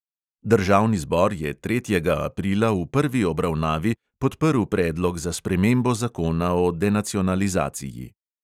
Državni zbor je tretjega aprila v prvi obravnavi podprl predlog za spremembo zakona o denacionalizaciji.